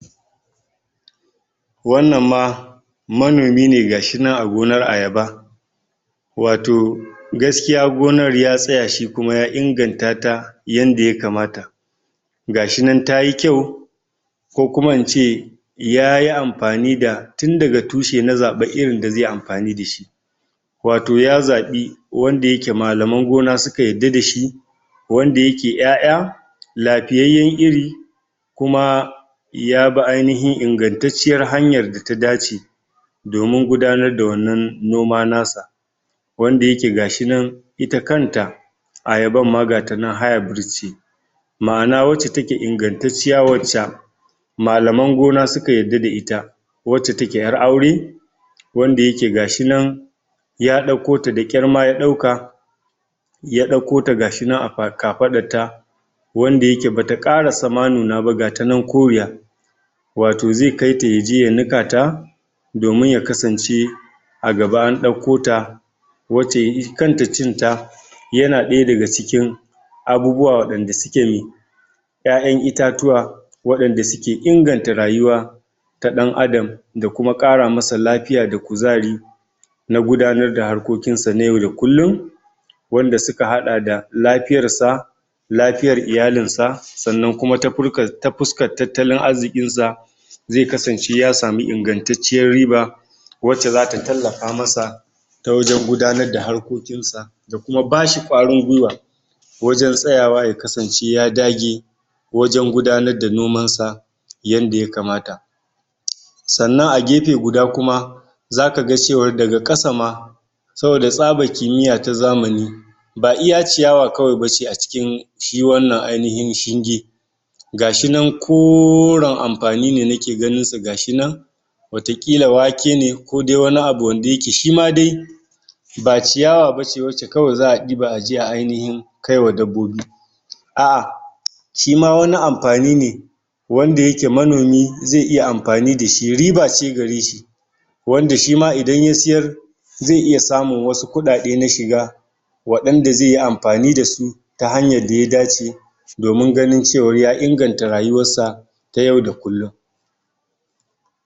Wannan ma manomi ne ga shi nan a gonar ayaba wato gaskiya gonar ya tsaya shi kuma ya inganta ta yanda yakamata ga shi nan tayi kyau ko kuma ince yayi amfani da tun daga tushe na zaɓa irin da zai yi amfani da shi wato ya zaɓi wanda yake malaman gona suka yadda da shi wanda yake ƴaƴa lafiyayyan iri kuma ya bi ainihin ingantaciyar hanyar da ta dace domin gudanar da wannan noma na sa wanda yake ga shi nan ita kan ta ayaban ma gata nan hybrid ce ma'ana wacce take ingantaciya wacca malaman gona suka yadda da ita wacce take ƴar aure wanda yake gashi nan ya ɗauko ta da ƙyar ma ya ɗauka ya ɗauko ta ga shi nan a kafaɗar ta wanda yake bata ƙarasa ma nuna ba gata nan koriya wato ze kai ta yaje ya nika ta domin ya kasance a gaba an ɗauko ta wacce ita kanta cin ta yana ɗaya daga cikin abubuwa waɗanda suke ƴaƴan itatuwa waɗanda suke inganta rayuwa ta ɗan'adam da kuma ƙara masa lafiya da kuzari na gudanar da harkokin sa na yau da kullun wanda suka haɗa da, lafiyar sa lafiyar iyalin sa sannan kuma ta fuskar tattalin arzikin sa ze kasance ya samu ingantaciyar riba wacce zata tallafa masa ta wajen gudanar da harkokin sa da kuam bashi ƙwarin gwuiwa wajen tsayawa ya kasance ya dage wajen gudanar da noman sa yadda yakamata sannan a gefe guda kuma zaka ga cewar daga ƙasa ma saboda tsaban kimiyya ta zamani ba iya ciyawa kawai bace a cikin shi wannan ainihin shinge ga shi nan koren amfani ne nake ganin su ga shi nan wata ƙila wake ne ko dai wani abu wanda yake shi ma dai ba ciyawa bace wacce kawai za'a ɗiba aje a ainihin kai wa dabbobi a shi ma wani amfani ne wanda yake manomi ze iya amfani da shi, riba ce gare shi wanda shi ma idan ya siyar zai iya samun wasu kuɗaɗe na shiga waɗanda zai yi amfani da su ta hanyar da ya dace domin ganin cewa ya inganta rayuwar sa ta yau da kullun.